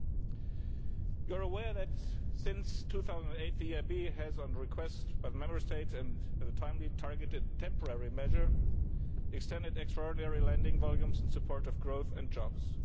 You will be aware that, since 2008, the EIB has, on request by the Member States and as a timely targeted temporary measure, extended extraordinary lending volumes in support of growth and jobs.